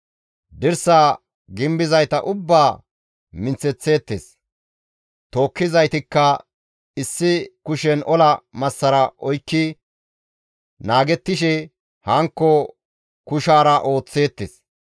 Dirsaa gimbizayta ubbaa minththeththeettes; tookkizaytikka issi kushen ola massara oykki naagettishe hankko kushaara ooththeettes.